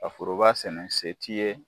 A foroba sɛnɛ se t'i ye.